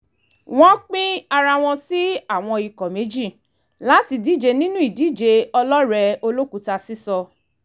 wọ́n pín ara wọn sí àwọn ikọ̀ méjì láti díje nínú ìdíje ọlọ́rẹ̀ẹ́ olókùúta sísọ